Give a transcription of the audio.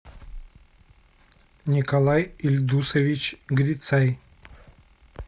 николай ильдусович грицай